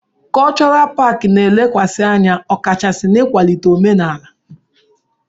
Kọlchọral paakị na-elekwasị anya ọkachasi n'ịkwalite omenala.